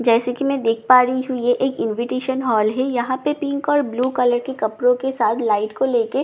जैसे की मैं देख पा रही हूँ यह एक इन्विटेशन हॉल है यहाँ पे पिंक और ब्लू कलर के कपड़ो के साथ लाइट को लेके गेट को --